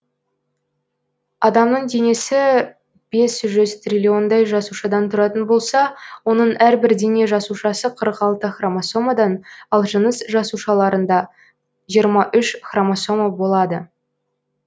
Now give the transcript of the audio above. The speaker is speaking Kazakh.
адамның денесі бес жүз триллиондай жасушадан тұратын болса оның әрбір дене жасушасы қырық алты хромосомадан ал жыныс жасушаларында жиырма үш хромосома болады